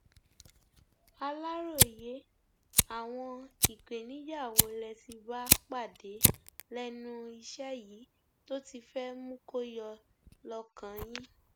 aláròye àwọn ìpèníjà wo lẹ ti bá pàdé lẹnu iṣẹ yìí tó ti fẹ mú kó yọ lọkàn yín